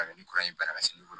Ka bɛn ni kuranɛ in banna ka se